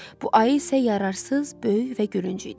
Bu ayı isə yararsız, böyük və gülünc idi.